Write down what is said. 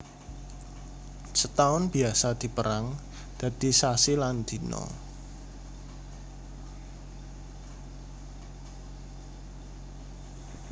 Setaun biasa dipérang dadi sasi lan dina